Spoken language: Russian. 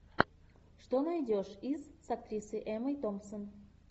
что найдешь из с актрисой эммой томпсон